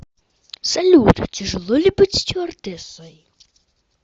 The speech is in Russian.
салют тяжело ли быть стюардессой